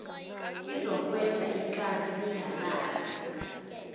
izokwenza ikati lingalali